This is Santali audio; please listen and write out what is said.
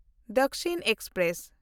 ᱫᱟᱠᱥᱤᱱ ᱮᱠᱥᱯᱨᱮᱥ